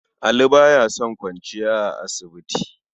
Ali ba ya son kwanciya a asibiti.